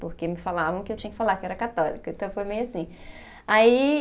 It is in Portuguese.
Porque me falavam que eu tinha que falar que era católica, então foi meio assim. Aí